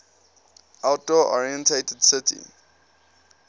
outdoor oriented city